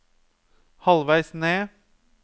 halvveis ned